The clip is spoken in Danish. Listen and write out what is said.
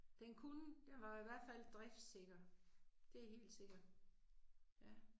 Den kunne, den var jo i hvert fald driftsikker. Det er helt sikkert, ja